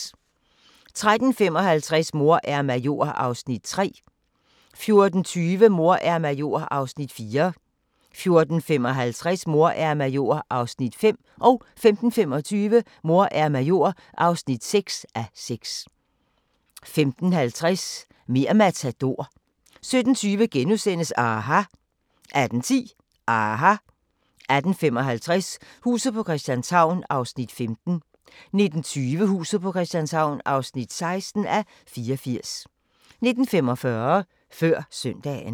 13:55: Mor er major (3:6) 14:20: Mor er major (4:6) 14:55: Mor er major (5:6) 15:25: Mor er major (6:6) 15:50: Mer' Matador 17:20: aHA! * 18:10: aHA! 18:55: Huset på Christianshavn (15:84) 19:20: Huset på Christianshavn (16:84) 19:45: Før Søndagen